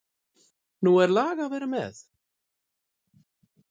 Nú er lag að vera með!